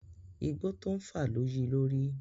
Igbó tó ń fà lo yi lórí.